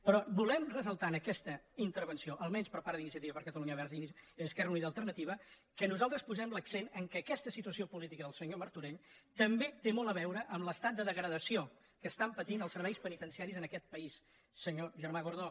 però volem ressaltar en aquesta intervenció almenys per part d’iniciativa per catalunya verds · esquer·ra unida i alternativa que nosaltres posem l’accent en el fet que aquesta situació política del senyor mar·torell també té molt a veure amb l’estat de degradació que estan patint els serveis penitenciaris en aquest pa·ís senyor germà gordó